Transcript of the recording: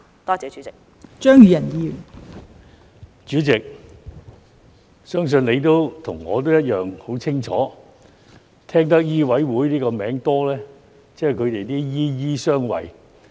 代理主席，相信你和我一樣很清楚，聽得醫委會這個名稱多，即"醫醫相衞"。